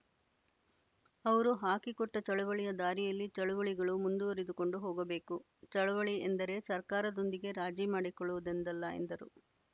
ಅವರು ಹಾಕಿಕೊಟ್ಟ ಚಳವಳಿಯ ದಾರಿಯಲ್ಲಿ ಚಳವಳಿಗಳು ಮುಂದುವರಿದುಕೊಂಡು ಹೋಗಬೇಕು ಚಳವಳಿ ಎಂದರೆ ಸರ್ಕಾರದೊಂದಿಗೆ ರಾಜಿ ಮಾಡಿಕೊಳ್ಳುವುದೆಂದಲ್ಲ ಎಂದರು